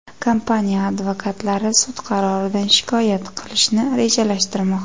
Kompaniya advokatlari sud qaroridan shikoyat qilishni rejalashtirmoqda.